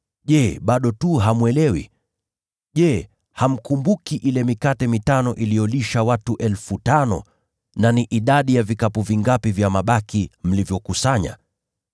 Je, bado hamwelewi? Je, hamkumbuki ile mikate mitano iliyolisha watu 5,000 na idadi ya vikapu vingapi vya mabaki mlivyokusanya?